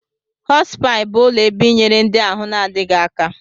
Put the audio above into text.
Hospi bụ ụlọ ebe ịnyere ndị ahụ na-adịghi aka.